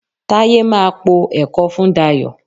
Táyé máa po ẹ̀kọ fún Dayọ̀